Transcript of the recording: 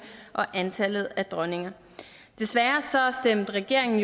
og antallet af dronninger desværre stemte regeringen